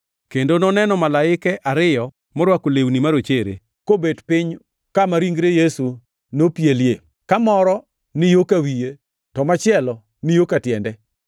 kendo noneno malaike ariyo morwako lewni marochere, kobet piny kama ringre Yesu nopielie, ka moro ni yo ka wiye, to machielo ni yo ka tiende.